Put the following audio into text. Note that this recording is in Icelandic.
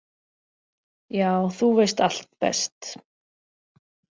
Já, þú veist allt best.